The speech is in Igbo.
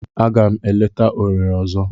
Aga m eleta Owere ozo.